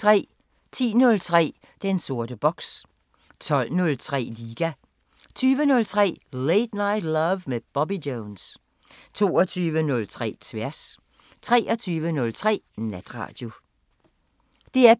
10:03: Den sorte boks 12:03: Liga 20:03: Late Night Love med Bobby Jones 22:03: Tværs 23:03: Natradio